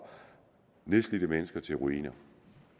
nedslidte mennesker til ruiner